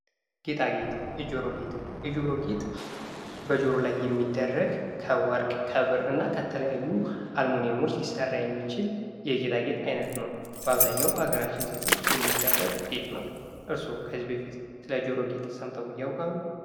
ጌጣጌጥ፦ የጆሮ ጌጥ፦ የጆሮ ጌጥ በጆሮ ላይ የሚደረግ ከወርቅ ፣ከብር እና ከተለያዩ አልሙኒየሞች ሊሰራ የሚችል የጌጣጌጥ አይነት ነው። በአብዛኛው በሀገራችን ሴቶች የሚደረግ ጌጥ ነው። እርስዎ ከዚህ በፊት ስለ ጆሮ ጌጥ ሰምተው ያውቃሉ?